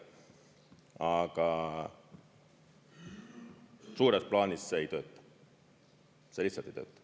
Aga suures plaanis see ei tööta, see lihtsalt ei tööta.